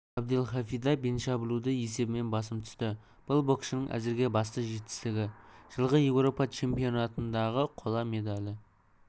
абдельхафида беншаблуді есебімен басым түсті бұл боксшының әзірге басты жетістігі жылғы еуропа чемпионатындағы қола медалі